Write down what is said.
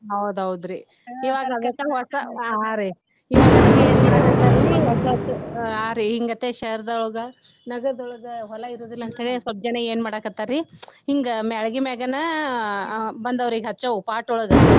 ಹೌದ್ ಹೌದ್ ರಿ ಇವಾಗ ಇವಾಗ ಅದಕ್ಕ ಏನ ಮಾಡಾಕತ್ತಾರಿ ಸ್ವಲ್ಪ ಹಾ ರಿ ನಗರದೊಳಗ ಹೊಲಾ ಇರುದಿಲ್ಲ ಅಂತ ಸ್ವಲ್ಪ ಜನಾ ಏನ ಮಾಡಾಕತ್ತಾರಿ ಹಿಂಗ ಮ್ಯಾಳಗಿ ಮ್ಯಾಗನ ಬಂದಾವ್ರಿ ಈಗ ಹಚ್ಛೋವ pot ಒಳಗ.